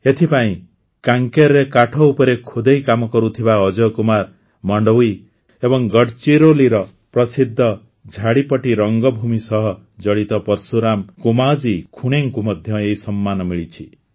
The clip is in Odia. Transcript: ଏଥିପାଇଁ କାଁକେରରେ କାଠ ଉପରେ ଖୋଦେଇ କାମ କରୁଥିବା ଅଜୟ କୁମାର ମଣ୍ଡାୱି ଏବଂ ଗଡଚିରୋଲିର ପ୍ରସିଦ୍ଧ ଝାଡ଼ିପଟ୍ଟି ରଙ୍ଗଭୂମି ସହ ଜଡ଼ିତ ପର୍ଶୁରାମ କୋମାଜୀ ଖୁଣେଙ୍କୁ ମଧ୍ୟ ଏହି ସମ୍ମାନ ମିଳିଛି